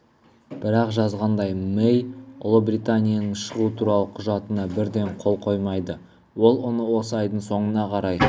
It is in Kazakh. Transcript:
бірақ жазғандай мэй ұлыбританияның шығу туралы құжатына бірден қол қоймайды ол оны осы айдың соңына қарай